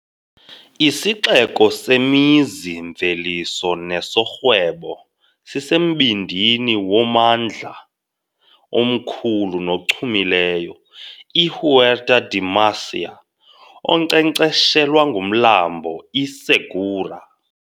Isixeko semizi-mveliso nesorhwebo, sisembindini wommandla omkhulu nochumileyo, iHuerta de Murcia, onkcenkceshelwa ngumlambo iSegura.